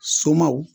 Somaw